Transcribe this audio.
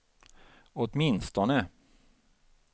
åtminstone